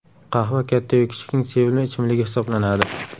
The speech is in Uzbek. Qahva katta-yu kichikning sevimli ichimligi hisoblanadi.